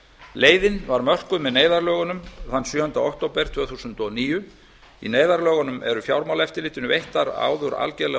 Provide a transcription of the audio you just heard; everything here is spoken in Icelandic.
leiðin var mörkuð með neyðarlögunum þann sjöunda október tvö þúsund og níu í neyðarlögunum eru fjármálaeftirlitinu veittar áður algerlega